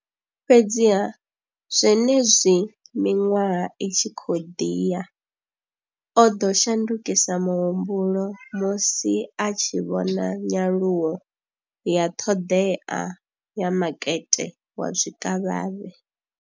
Fhedziha, zwenezwi miṅwaha i tshi khou ḓi ya, o ḓo shandukisa muhumbulo musi a tshi vhona nyaluwo ya ṱhoḓea ya makete wa zwikavhavhe.